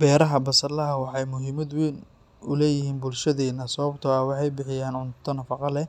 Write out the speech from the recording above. Beeraha basalaha waxay muhiimad weyn u leeyihiin bulshadeenna sababtoo ah waxay bixiyaan cunto nafaqo leh,